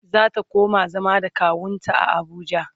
zata koma zama da kawunta a Abuja